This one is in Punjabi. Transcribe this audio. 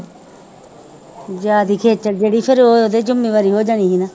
ਜਿਹੜੀ ਫਿਰ ਉਹਦੀ ਜ਼ਿੰਮੇਵਾਰੀ ਹੋ ਜਾਣੀ ਸੀ ਨਾ।